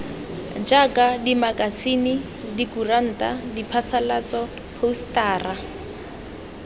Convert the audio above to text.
jaaka dimakasine dikuranta diphasalatso phousetara